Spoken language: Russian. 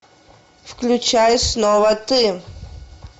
включай снова ты